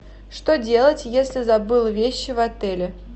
что делать если забыл вещи в отеле